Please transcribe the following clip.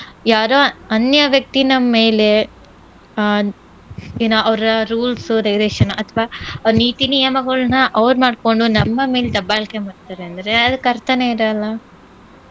ಯಾರೋ ಅನ್ಯ ವ್ಯಕ್ತಿ ನಮ್ ಮೇಲೆ ಆಹ್ ಏನು ಅವ್ರ rules, regulation ಅಥ್ವಾ ಅವ್ರ್ ನೀತಿ ನಿಯಮಗಳ್ನಾ ಅವ್ರ್ ಮಾಡ್ಕೊಂಡು ನಮ್ಮ ಮೇಲ್ ದಬ್ಬಾಳ್ಕೆ ಮಾಡ್ತಾರಂದ್ರೆ ಅದಕ್ ಅರ್ಥನೇ ಇರಲ್ಲ.